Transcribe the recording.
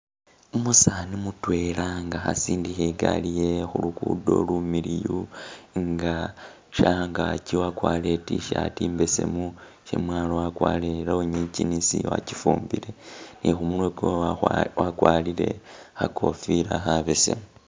Umusaani mutwela nga khasindikha e'gali yewe khulugudo lumiliyu nga shangaki wakwalire i't-shirt mbesemu shamwalo wakwalire i'lonyi jeans wachifumbile ni khumurwe kwe wakhwa wakwalire khakofila khabesemu